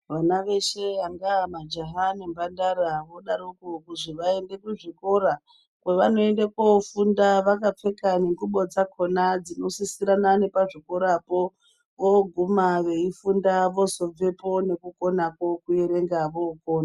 Ana veshe angava majaha ngemhandara anodaroko kuzi vaende kuzvikora kwevanoenda kofunda vakapfeka ngengubo dzakona dzinosisirana pazvikorapo. Vooguma veifunda vozobvepo nekukona kokuerenga vokona.